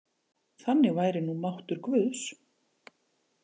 Þannig væri nú máttur guðs.